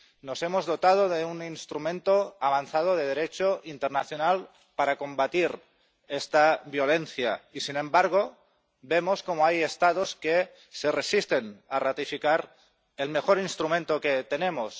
Nos hemos dotado de un instrumento avanzado de Derecho internacional para combatir esta violencia y, sin embargo, vemos cómo hay Estados que se resisten a ratificar el mejor instrumento que tenemos.